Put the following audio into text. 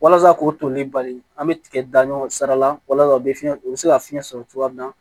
Walasa k'o toli bali an bɛ tigɛ da ɲɔ sara la walasa u bɛ fiɲɛ u bɛ se ka fiɲɛ sɔrɔ cogoya min na